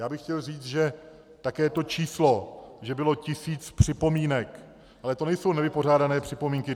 Já bych chtěl říct, že také to číslo, že bylo tisíc připomínek - ale to nejsou nevypořádané připomínky.